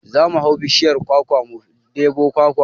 Za mu hau bishiyar kwakwa mu ɗebo kwakwa